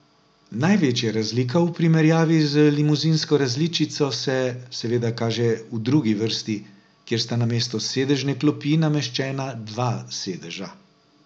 Največja razlika v primerjavi z limuzinsko različico se, seveda, kaže v drugi vrsti, kjer sta namesto sedežne klopi nameščena dva sedeža.